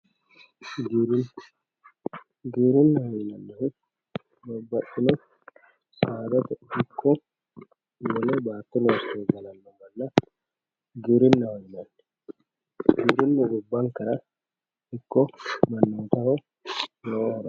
Giwirina giwirinaho yinanihu sadatte iko bati losire galano manna giwirinaho yinanni giwirinamu gibankera iko maninkera lowo horo afirano